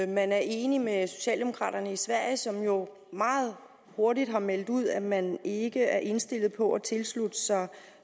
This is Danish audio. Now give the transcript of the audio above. man er enig med socialdemokraterna i sverige som jo meget hurtigt har meldt ud at man ikke er indstillet på at tilslutte sig